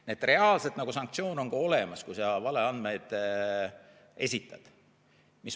Nii et reaalselt sanktsioon on olemas, kui sa valeandmeid esitad.